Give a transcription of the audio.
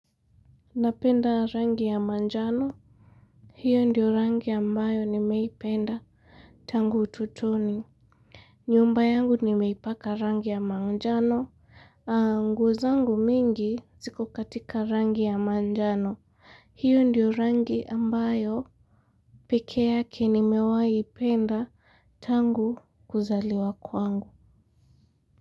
Napenda rangi ya manjano, hiyo ndiyo rangi ambayo nimeipenda tangu ututoni. Nyumba yangu nimeipaka rangi ya manjano, angu zangu mingi ziko katika rangi ya manjano, hiyo ndiyo rangi ambayo peke yake nimewai ipenda tangu kuzaliwa kwangu.